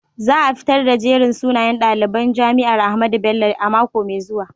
Za a fitar da jerin sunayen daliban jami'ar Ahmadu Bello a mako mai zuwa.